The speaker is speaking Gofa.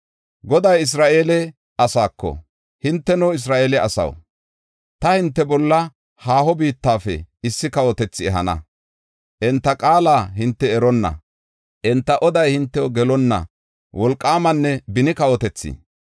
Goday Isra7eele asaako, “Hinteno, Isra7eele asaw, ta hinte bolla haaho biittafe issi kawotethi ehana. Enta qaala hinte eronna, enta oday hintew gelonna wolqaamanne beni kawotethi.